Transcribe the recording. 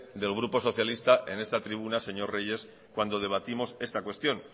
del grupo socialista en esta tribuna señor reyes cuando debatimos esta cuestión